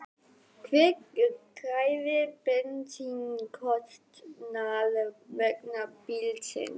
Hver greiðir bensínkostnað vegna bílsins?